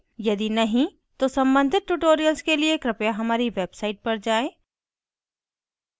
यदि नहीं तो सम्बंधित tutorials के लिए कृपया हमारी website पर जाएँ